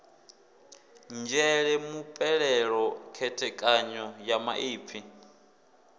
nzhele mupeleṱo khethekanyo ya maipfi